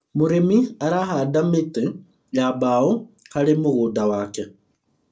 mũrĩmi arahanda mĩtĩ ya mbao harĩ mũgũnda wake